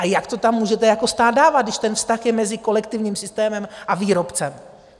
A jak to tam můžete jako stát dávat, když ten vztah je mezi kolektivním systémem a výrobcem?